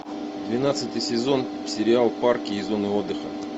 двенадцатый сезон сериал парки и зоны отдыха